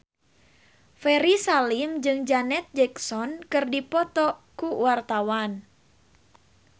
Ferry Salim jeung Janet Jackson keur dipoto ku wartawan